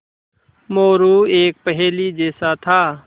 मोरू एक पहेली जैसा था